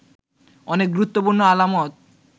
অনেক গুরুত্বপূর্ণ আলামত